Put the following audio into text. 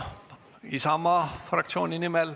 Mihhail Lotman Isamaa fraktsiooni nimel.